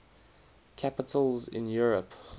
capitals in europe